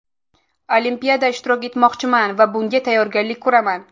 Olimpiada ishtirok etmoqchiman va bunga tayyorgarlik ko‘raman.